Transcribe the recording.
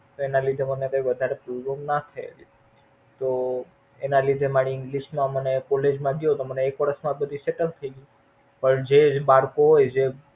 તો એના લીધે મને કઈ વધારે તો એના લીધે મારે English મને College માં ગયો તો એક વર્ષ માં બધું Settle થઇ ગયુ પણ જે બાળકો હોઈ